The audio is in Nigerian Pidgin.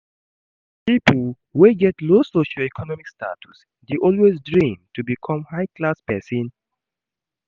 pipo wey get low socio-econmic status de always dream to become a high class persin